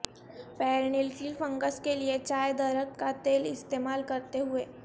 پیر nail کیل fungus کے لئے چائے درخت کا تیل استعمال کرتے ہوئے